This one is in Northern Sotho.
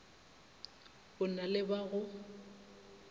o na le ba go